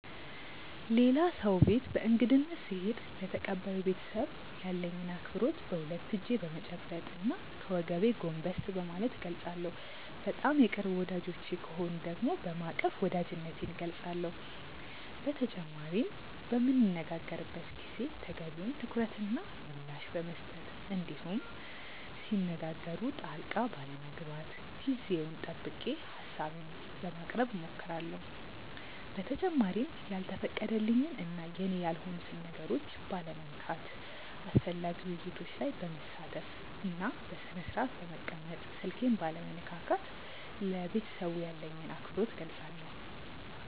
ሌላ ሰው ቤት በእንግድነት ስሄድ ለተቀባዩ ቤተሰብ ያለኝን አክብሮት በሁለት እጄ በመጨበጥ እና ከወገቤ ጎንበስ በማለት እገልፃለሁ። በጣም የቅርብ ወዳጆቼ ከሆኑ ደግሞ በማቀፍ ወዳጅነቴን እገልፃለሁ። በተጨማሪም በምንነጋገርበት ጊዜ ተገቢውን ትኩረት እና ምላሽ በመስጠት እንዲሁም ሲነጋገሩ ጣልቃ ባለመግባት ጊዜውን ጠብቄ ሀሳቤን በማቅረብ እሞክራለሁ። በተጨማሪም ያልተፈቀደልኝን እና የኔ ያልሆኑትን ነገሮች ባለመንካት፣ አስፈላጊ ውይይቶች ላይ በመሳተፍ፣ በስነስርአት በመቀመጥ፣ ስልኬን ባለመነካካት ለቤተሰቡ ያለኝን አክብሮት እገልፃለሁ።